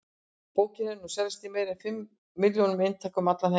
Bókin hefur nú selst í meira en fimm milljónum eintaka um allan heim.